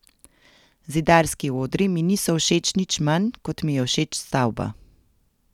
Zidarski odri mi niso všeč nič manj, kot mi je všeč stavba.